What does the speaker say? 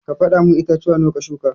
Ka fada mun itatuwa nawa ka shuka.